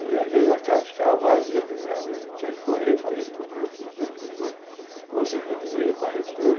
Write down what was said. E às vezes a casa ficava vazia de nada e eu tinha que correr e fazer todo tipo de coisa, conseguir dinheiro para repor.